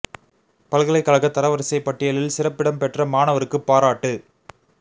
பல்கலைக் கழக தர வரிசைப் பட்டியலில் சிறப்பிடம் பெற்ற மாணவருக்கு பாராட்டு